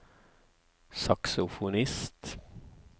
saksofonist